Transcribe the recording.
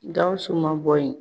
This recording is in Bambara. Gawusu ma bɔ yen